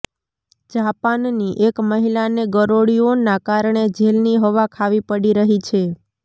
જાપાનની એક મહિલાને ગરોળીઓના કારણે જેલની હવા ખાવી પડી રહી છે